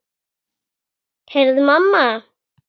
Heyrðu mamma!